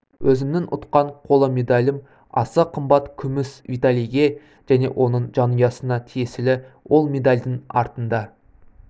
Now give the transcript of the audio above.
өзімнің ұтқан қола медалым аса қымбат күміс виталийге және оның жанұясына тиесілі ол медальдың артында